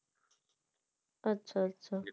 আচ্ছা আচ্ছা